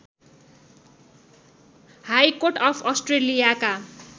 high court of अस्ट्रेलियाका